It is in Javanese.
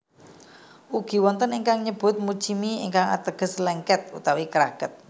Ugi wonten ingkang nyebut muchimi ingkang ateges lèngkèt utawi kraket